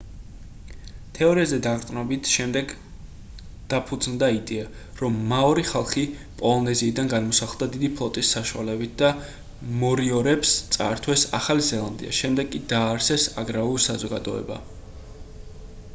თეორიაზე დაყრდნობით შემდეგ დაფუძნდა იდეა რომ მაორი ხალხი პოლინეზიიდან გადმოსახლდა დიდი ფლოტის საშუალებით და მორიორებს წაართვეს ახალი ზელანდია შემდეგ კი დააარსეს აგრარული საზოგადოება